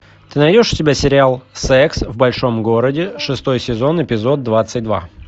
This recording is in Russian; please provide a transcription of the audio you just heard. ты найдешь у себя сериал секс в большом городе шестой сезон эпизод двадцать два